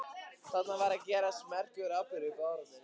Þarna var að gerast merkur atburður í baráttunni.